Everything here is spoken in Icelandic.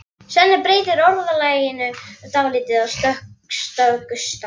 Svenni breytir orðalaginu dálítið á stöku stað.